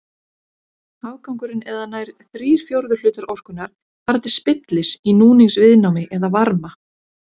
Afgangurinn eða nær þrír fjórðu hlutar orkunnar fara til spillis í núningsviðnámi eða varma.